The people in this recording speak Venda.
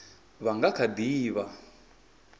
vha nga kha ḓi vha